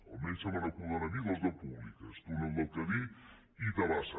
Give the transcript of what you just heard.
almenys se me n’acuden a mi dues de públiques túnel del cadí i tabasa